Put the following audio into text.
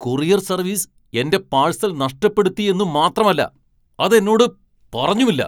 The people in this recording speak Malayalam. കൊറിയർ സർവീസ് എന്റെ പാഴ്സൽ നഷ്ടപ്പെടുത്തിയെന്നു മാത്രമല്ല അത് എന്നോട് പറഞ്ഞുമില്ല.